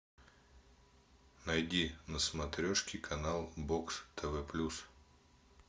найди на смотрешке канал бокс тв плюс